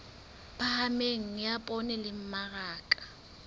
phahameng ya poone le mmaraka